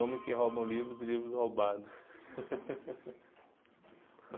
Homens que roubam livros e livros roubados.